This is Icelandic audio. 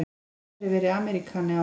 Aldrei verið Ameríkani áður.